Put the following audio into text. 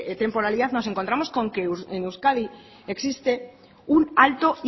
temporalidad nos encontramos con que en euskadi existe un alto